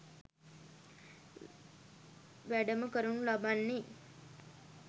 වැඩම කරනු ලබන්නේ